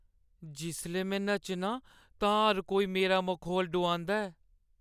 जिसलै में नच्चनां तां हर कोई मेरा मखौल डोआंदा ऐ।